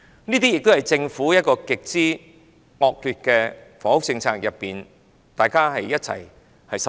這些均源於政府極之惡劣的房屋政策，令大家一同受害。